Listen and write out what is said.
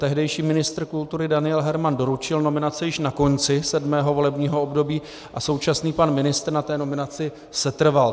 Tehdejší ministr kultury Daniel Herman doručil nominaci již na konci sedmého volebního období a současný pan ministr na té nominaci setrval.